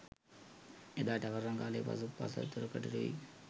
එදා ටවර් රඟහලේ පසු පස දොරකඩට වී